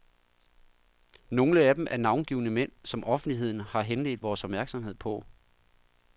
Nogle af dem er navngivne mænd, som offentligheden har henledt vores opmærksomhed på.